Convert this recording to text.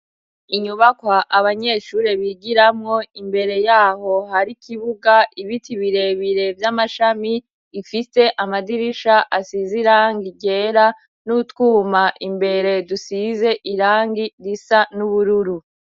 Inyubakwa abanyeshure bigiramwo; imbere yaho hari ikibuga, ibiti birebire vy'amashami ifise amadirisha asize irangi ryera n'utwuma imbere dusize irangi risa n'ubururu.